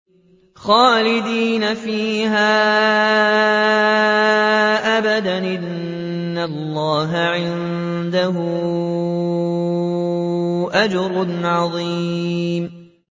خَالِدِينَ فِيهَا أَبَدًا ۚ إِنَّ اللَّهَ عِندَهُ أَجْرٌ عَظِيمٌ